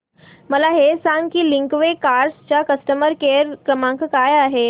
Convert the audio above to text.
मला हे सांग की लिंकवे कार्स चा कस्टमर केअर क्रमांक काय आहे